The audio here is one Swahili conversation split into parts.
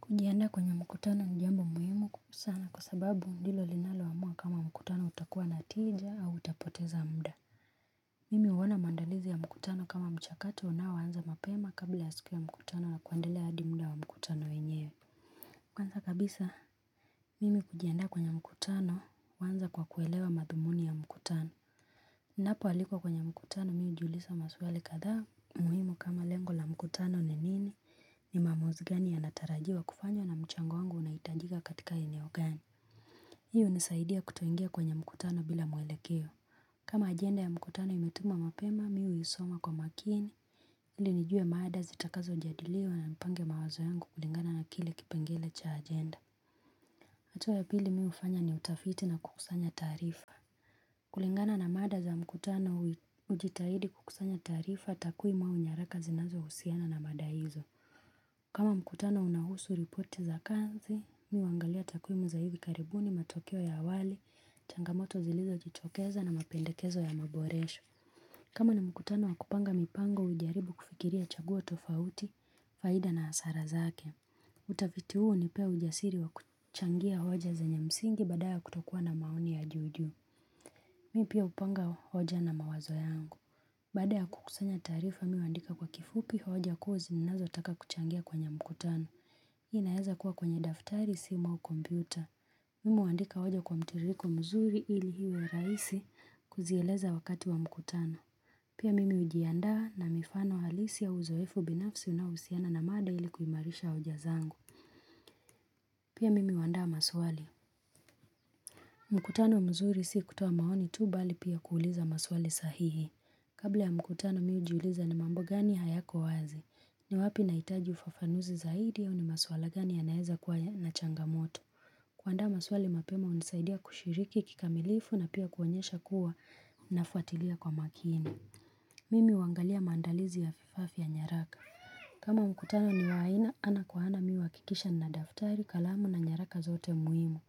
Kujiandaa kwenye mkutano ni jambo muhimu sana kwa sababu ndilo linaloamua kama mkutano utakuwa natija au utapoteza mda. Mimi uona maandalizi ya mkutano kama mchakato unaoanza mapema kabla ya siku ya mkutano wa kuendelea hadi mda wa mkutano wenyewe. Kwanza kabisa, mimi kujiandaa kwenye mkutano huanza kwa kuelewa madhumuni ya mkutano. Ninapoalikwa kwenye mkutano miu jiulisa maswali kadhaa muhimu kama lengo la mkutano ni nini ni maamuzi gani ya natarajiwa kufanywa na mchango wangu unaitajika katika eneo gani. Hii unisaidia kutoingia kwenye mkutano bila mwelekeo. Kama agenda ya mkutano imetuma mapema miu isoma kwa makini ilinijue maada zitakazo jadiliwa na nipange mawazo yangu kulingana na kile kipengele cha agenda. Hatua ya pili mi ufanya ni utafiti na kukusanya taarifa. Kulingana na mada za mkutano ujitahidi kukusanya taarifa takwimu au nyaraka zinazo usiana na mada hizo. Kama mkutano unahusu ripoti za kanzi, miuangalia takwimu za hivi karibuni matokeo ya awali, changamoto zilizo jichokeza na mapendekezo ya maboresho. Kama ni mkutano wakupanga mipango, ujaribu kufikiria chaguo tofauti, faida na asara zake. Utaviti huu unipea ujasiri wa kuchangia hoja zenye msingi badala ya kutokuwa na maoni ya juujuu Mi pia hupanga hoja na mawazo yangu Baada ya kukusanya taarifa mi huandika kwa kifupi hoja kuuzi nazo taka kuchangia kwenye mkutano inaeza kuwa kwenye daftari siMU AU kompyuta Mimu huandika hoja kwa mtiriko mzuri ili iwe raisi kuzieleza wakati wa mkutano Pia mimi hujiandaa na mifano halisi ya uzoefu binafsi unaohusiana na mada ili kuimarisha hoja zangu Pia mimi huaanda maswali. Mkutano mzuri si kutoa maoni tu bali pia kuuliza maswali sahihi. Kabla ya mkutano mihu jiuliza ni mambo gani hayako wazi. Ni wapi naitaji ufafanuzi zaidi au ni maswala gani ya naeza kuwa na changamoto. Kuandaa maswali mapema hunisaidia kushiriki kikamilifu na pia kuonyesha kuwa nafuatilia kwa makini. Mimi huangalia maandalizi ya fifafia nyaraka. Kama mkutano ni waaina ana kwa ana mihu akikisha nina daftari kalamu na nyaraka zote muhimu.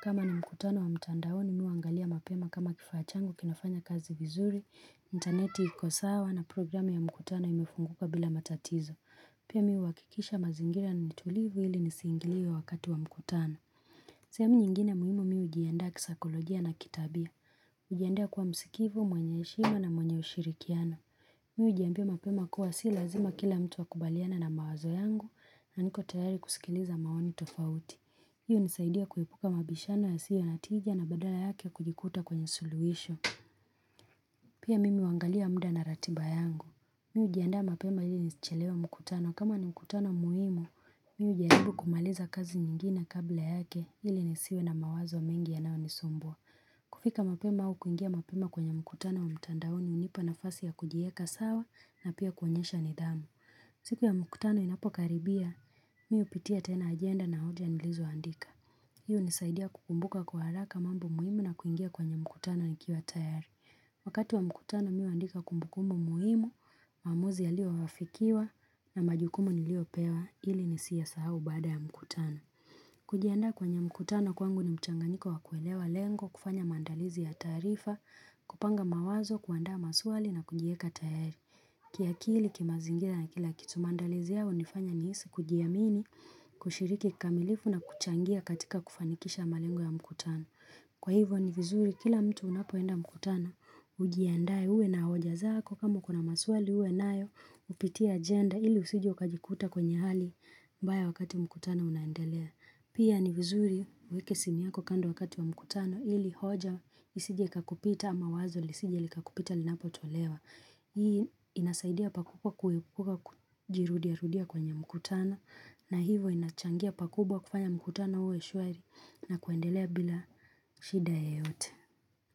Kama ni mkutano wa mtandaoni mihu angalia mapema kama kifachangu kinafanya kazi vizuri, interneti ikosawa na programi ya mkutano imefunguka bila matatizo. Pia mihuhakikisha mazingira nitulivu ili nisingiliwe ya wakati wa mkutano. Mi pia upanga hoja na mawazo yangu Baada ya kukusanya taarifa mi uandika kwa kifupi hoja kuu zininazo taka kuchangia kwenye mkutano hujianda kwa msikivu, mwenye heshima na mwenye ushirikiano. Mihu ujiambia mapema kuwa si lazima kila mtu akubaliane na mawazo yangu na niko tayari kusikiliza maoni tofauti. Hii hunisaidia kuepuka mabishano ya siyo na tija na badala yake kujikuta kwenye suluhisho. Pia mimi huangalia muda na ratiba yangu. Mi hujiaanda mapema ili nisichelewe mkutano. Kama ni mkutano muhimu, mi ujiaribu kumaliza kazi nyingine kabla yake ili nisiwe na mawazo mingi ya nao nisumbua. Kufika mapema au kuingia mapema kwenye mkutano wa mtandaoni hunipa na fasi ya kujieka sawa na pia kuonyesha nidhamu. Siku ya mkutano inapokaribia, mi hupitia tena agenda na hoja nilizoandika. Hii hu nisaidia kukumbuka kwa haraka mambo muhimu na kuingia kwenye mkutano ni kiwa tayari. Wakati wa mkutano mihua ndika kumbukumu muhimu, maamuzi ya lio wafikiwa na majukumu ni lio pewa, ili ni siya sahau bada ya mkutana. Kujiandaa kwenye mkutano kwangu ni mchanganiko wa kuelewa lengo, kufanya maandalizi ya taarifa, kupanga mawazo, kuandaa maswali na kujieka tayari. Kiakili, kimazingilarna kila kitu maandalizi yao, nifanya nihisi kujiamini, kushiriki kikamilifu na kuchangia katika kufanikisha malengo ya mkutano. Kwa hivyo ni vizuri kila mtu unapoenda mkutanao ujiandae uwe na hoja zako kama kuna maswali uwe nayo upitie agenda ili usije ukajikuta kwenye hali mbaya wakati mkutano unaendelea. Pia ni vizuri uweke simu yako kando wakati wa mkutano ili hoja isije ikakupita ama wazo lisije likakupita linapo tolewa. Hii inasaidia pakubwa kuepuka kujirudia rudia kwenye mkutano na hivo inachangia pakubwa kufanya mkutano uwe shuari na kuendelea bila shida ye yote.